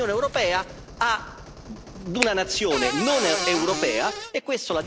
E questo la dice lunga sull'ipocrisia di tutti quelli che si definiscono, qui dentro, europeisti.